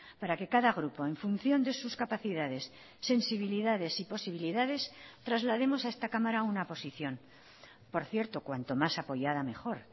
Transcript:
para que cada grupo en función de sus capacidades sensibilidades y posibilidades traslademos a esta cámara una posición por cierto cuanto más apoyada mejor